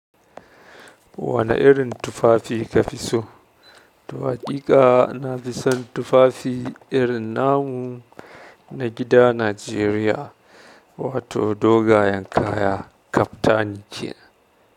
Wane irin tufafi ka fi so? To haƙiƙa na fi son tufafi irin namu na gida Najeriya, wato dogayen kaya kaftani kenan.